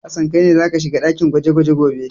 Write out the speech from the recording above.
Hassan kai ne za ka shiga dakin gwaje-gwaje gobe!